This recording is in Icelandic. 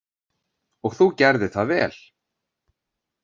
Og þú gerðir það vel.